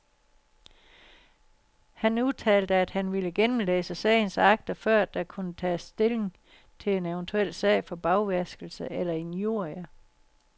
Han udtalte, at han ville gennemlæse sagens akter, før der kunne tages stilling til en eventuel sag for bagvaskelse eller injurier.